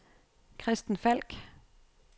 Christen Falk